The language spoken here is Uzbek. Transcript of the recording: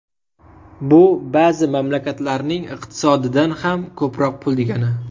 Bu ba’zi mamlakatlarning iqtisodidan ham ko‘proq pul degani.